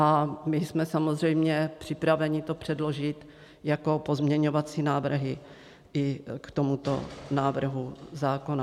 A my jsme samozřejmě připraveni to předložit jako pozměňovací návrhy i k tomuto návrhu zákona.